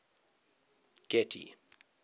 getty